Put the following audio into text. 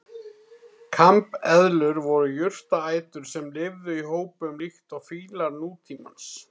Kambeðlur voru jurtaætur sem lifðu í hópum líkt og fílar nútímans.